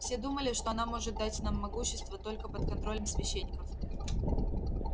все думали что она может дать нам могущество только под контролем священников